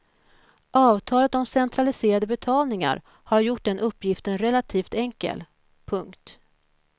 Avtalet om centraliserade betalningar har gjort den uppgiften relativt enkel. punkt